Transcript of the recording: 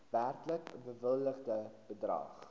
werklik bewilligde bedrag